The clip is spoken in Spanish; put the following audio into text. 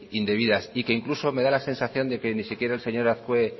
indebidas y que incluso me da la sensación de que ni siquiera el señor azkue